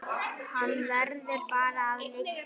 Hann verður bara að liggja.